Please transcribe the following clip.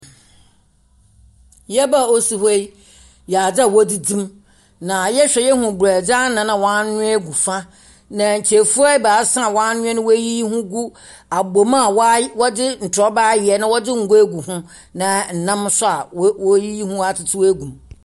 Yaaba a ɔsi hɔ yi yɛ adze a wɔdzidzi mu, na yɛhwɛ a, yehu brɛdze anan a waanoa gu fa. Na nkyɛfua ebaasa a waanoa na weeyiyi ho gu abom a waay wɔdze ntorɔba ayɛ na wɔdze ngo agu go, na nam nso a woe woeyiyi ho atsetsew agu mu.